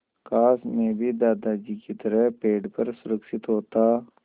काश मैं भी दादाजी की तरह पेड़ पर सुरक्षित होता